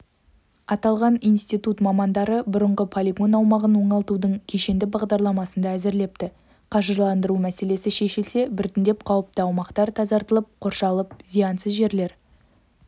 аталған институт мамандары бұрынғы полигон аумағын оңалтудың кешенді бағдарламасын да әзірлепті қаржыландыру мәселесі шешілсе біртіндеп қауіпті аумақтар тазартылып қоршалып зиянсыз жерлер